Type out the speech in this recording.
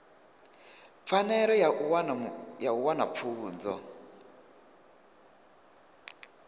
pfanelo ya u wana pfunzo